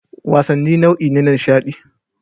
Wasanni nau'i ne na nishaɗi